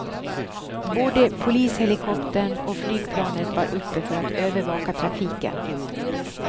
Både polishelikoptern och flygplanet var uppe för att övervaka trafiken.